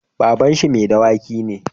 baban shi madawaki ne